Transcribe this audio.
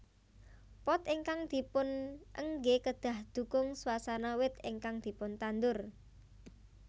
Pot ingkang dipunenggé kedah ndukung swasana wit ingkang dipuntandur